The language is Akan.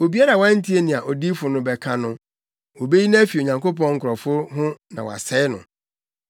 Obiara a wantie nea odiyifo no bɛka no, wobeyi no afi Onyankopɔn nkurɔfo ho na wɔasɛe no.’